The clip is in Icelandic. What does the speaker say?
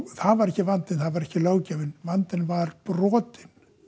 það var ekki vandinn það var ekki löggjafinn vandinn var brotin